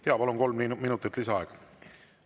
Jaa, palun, kolm minutit lisaaega!